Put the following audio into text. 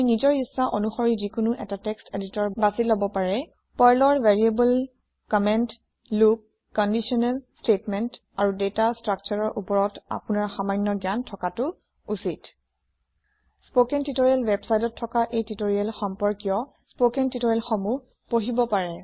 পাৰ্লৰ ভেৰিয়েবলকম্মেন্তলোপকন্দিশনেল স্টেটমেন্ট আৰু দাতা ষ্ট্ৰাকষ্টাৰ ৰ variables comments loops conditional statements and data structures ওপৰত আপোনাৰ সামান্য জ্ঞান থকাতো উচিত স্পকেন টিওটৰিয়েল ৱেবচাইটত থকা এই টিওটৰিয়েল সম্পৰ্কীয় স্পকেন টিওটৰিয়েল সমূহ পঢ়িব পাৰে